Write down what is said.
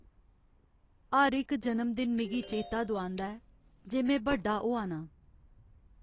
हर इक जनमदिन मिगी चेता दुआंदा ऐ जे में बड्डा होआ नां।